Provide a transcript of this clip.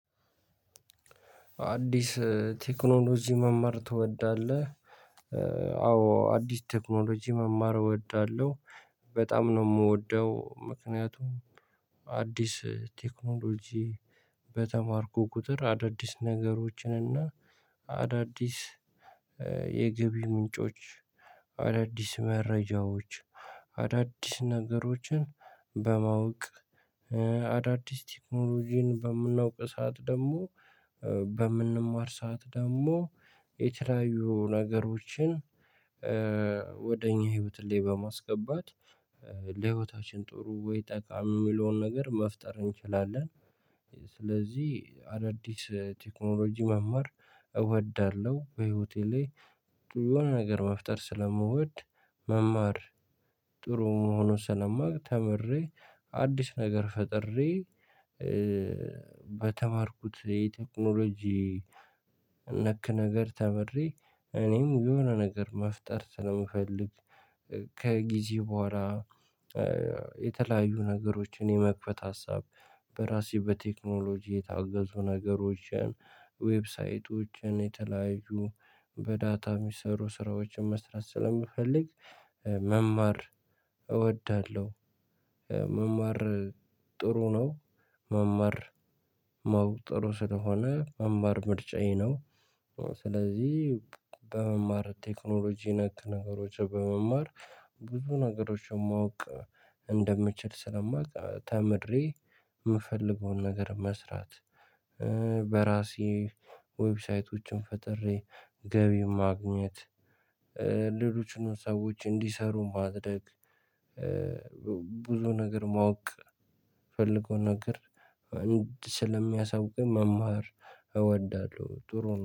አዲስ ቴክኖሎጂ መማር ትወዳለህ? አዎ አዲስ ቴክኖሎጂ መማር እወዳለሁ በጣም ነው እምወደው ምክንያቱም። አዲስ ቴክኖሎጂ በተማርኩ ቁጥር አዳዲስ ነገሮችን እና አዳዲስ የገቢ ምንጮች አዳዲስ መረጃዎች አዳዲስ ነገሮችን በማወቅ አዳዲስ ቴክኖሎጂን በምናውቅ ሰዓት ደግሞ በምንማር ሰዓት ደሞ የተለያዩ ነገሮችን ወደ እኛ ህይወት ሌባ ማስገባት ለህይወታችን ጥሩ ወይ ጠቃሚ የሚለውን ነገር መፍጠር እንችላለን። ስለዚህ አዳዲስ ቴክኖሎጂ መማር እወዳለሁ በህይወቴ ላይ ጥሩ የሆነ ነገር መፍጠር ስለምወድ። መማር ጥሩ መሆኑን ስለማውቅ ተምሬ አዲስ ነገር ፈጥሬ። በተማርኩት የቴክኖሎጂ ነክ ነገር ተምሬ እኔም የሆነ ነገር መፍጠር ስለምፈልግ። ከጊዜ በኋላ የተለያዩ ነገሮችን የመክፈት ሀሳብ በራሴ በቴክኖሎጂ የታገዙ ነገሮችን ዌብሳይቶችን የተለያዩ በዳታ እሚሰሩ ስራዎችን መስራት ስለሚፈልግ መማር እወዳለሁ። መማር ጥሩ ነው መማር ማወቅ ጥሩ ስለሆነ መማር ምርጫዬ ነው። ስለዚህ በመማር ቴክኖሎጂ ነክ ነገሮችን በመማር ብዙ ነገሮችን ማወቅ እንደምችል ስለማውቅ ተምሬ እምፈልገውን ነገር መስራት። በራሴ ዌብሳይቶችን ፈጥሬ ገቢ ማግኘት። ሌሎችንም ሰዎች እንዲሰሩ ማድረግ። ብዙ ነገር ማወቅ እምፈልገው ነገር አንድ ስለሚያሳውቀኝ መማር እወዳለሁ ጥሩ ነው